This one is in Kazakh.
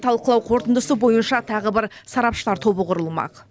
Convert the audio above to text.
талқылау қорытындысы бойынша тағы бір сарапшылар тобы құрылмақ